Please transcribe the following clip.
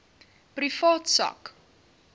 privaat sak